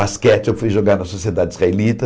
Basquete eu fui jogar na sociedade israelita.